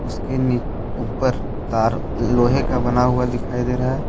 उसके नि ऊपर तार लोहे का बना हुआ दिखाई दे रहा है।